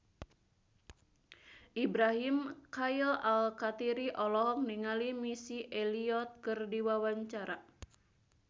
Ibrahim Khalil Alkatiri olohok ningali Missy Elliott keur diwawancara